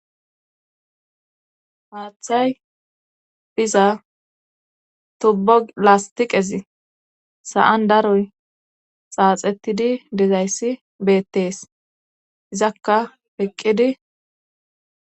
Haaththay biza tubbo lastiqezi sa'an daroy xaaxettidi dezayssi beettees izakka peqqidi.